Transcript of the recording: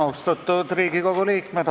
Austatud Riigikogu liikmed!